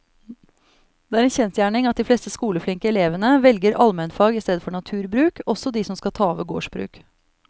Det er en kjensgjerning at de fleste skoleflinke elevene velger allmennfag i stedet for naturbruk, også de som skal ta over gårdsbruk.